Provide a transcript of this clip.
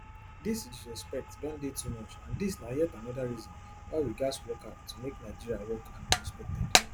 dis disrespect don dey too much and dis na yet anoda reason why we gatz work hard to make nigeria work and be respected